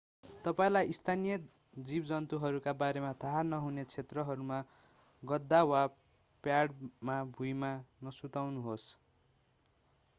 तपाईंलाई स्थानीय जीवजन्तुहरूका बारेमा थाहा नहुने क्षेत्रहरूमा गद्दा वा प्याडमा भुइँमा नसुत्नुहोस्